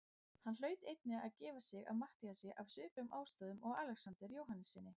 Hann hlaut einnig að gefa sig að Matthíasi af svipuðum ástæðum og Alexander Jóhannessyni.